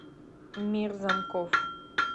мир замков